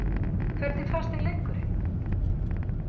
Hvernig fannst þér leikurinn?